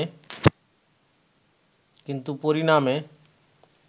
কিন্তু পরিণামে